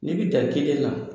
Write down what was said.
N'i bɛ dan kelen de man.